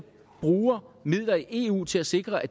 bruge midler i eu til at sikre at